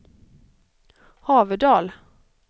Haverdal